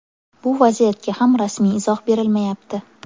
Bu vaziyatga ham rasmiy izoh berilmayapti.